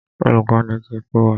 Olùkọ́ni ti kọ́ wa.